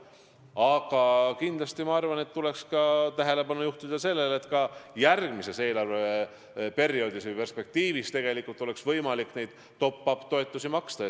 Aga kindlasti tuleks tähelepanu juhtida sellelegi, et ka järgmisel eelarveperioodil või perspektiivis oleks ikkagi võimalik neid top-up toetusi maksta.